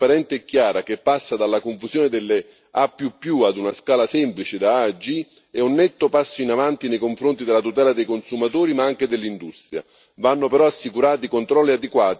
L'introduzione di un'etichettatura trasparente e chiara, che passa dalla confusione delle A ad una scala semplice da A a G è un netto passo in avanti nei confronti della tutela dei consumatori ma anche dell'industria.